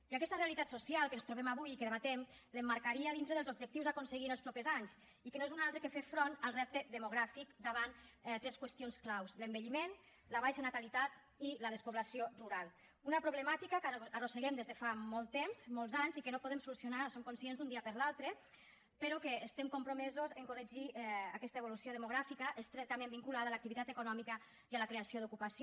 i aquesta realitat social que ens trobem avui i que debatem l’emmarcaria dintre dels objectius a aconseguir en els propers anys i que no és un altre que fer front al repte demogràfic davant tres qüestions clau l’envelliment la baixa natalitat i la despoblació rural una problemàtica que arrosseguem des de fa molt temps molts anys i que no podem solucionar en som conscients d’un dia per l’altre però que estem compromesos en corregir aquesta evolució demogràfica estretament vinculada a l’activitat econòmica i a la creació d’ocupació